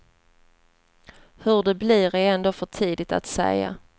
Hur det blir är ändå för tidigt att säga.